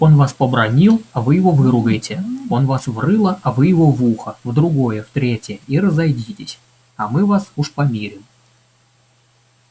он вас побранил а вы его выругайте он вас в рыло а вы его в ухо в другое в третье и разойдитесь а мы вас уж помирим